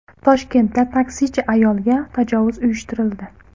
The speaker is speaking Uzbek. Toshkentda taksichi ayolga tajovuz uyushtirildi.